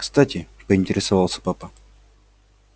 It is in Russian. кстати поинтересовался папа